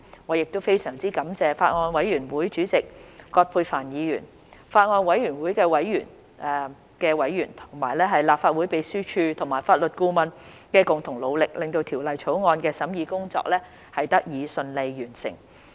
我亦非常感謝法案委員會主席葛珮帆議員、法案委員會的委員、立法會秘書處和法律顧問的共同努力，令《條例草案》的審議工作得以順利完成。